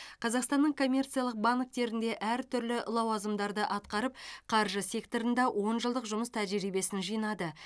қазақстанның коммерциялық банктерінде әртүрлі лауазымдарды атқарып қаржы секторында он жылдық жұмыс тәжірибесін жинады